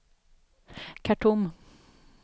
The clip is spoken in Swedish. Khartoum